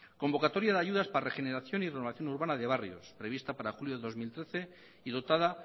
convocatoria de ayudas para regeneración y renovación urbana de barrios prevista para julio de dos mil trece y dotada